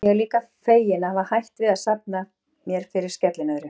Ég er líka feginn að hafa hætt við að safna mér fyrir skellinöðru.